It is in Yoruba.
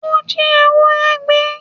Ó jí ewúrẹ́ gbé